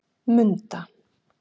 Munda